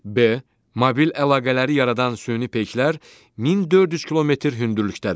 B. Mobil əlaqələri yaradan süni peyklər 1400 kilometr hündürlükdədir.